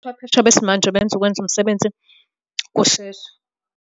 Ubuchwepheshe besimanje benza ukwenza umsebenzi kusheshe.